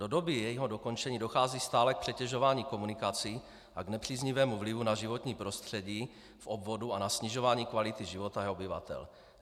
Do doby jejího dokončení dochází stále k přetěžování komunikací a k nepříznivému vlivu na životní prostředí v obvodu a na snižování kvality života jeho obyvatel.